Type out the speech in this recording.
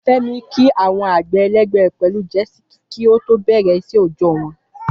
Fẹ́mi kí àwọn àgbẹ̀ ẹlẹgbẹ́ rẹ̀ pẹ̀lú Jisike kí ó tó bẹ̀rẹ̀ iṣẹ́ òòjọ́ wọn.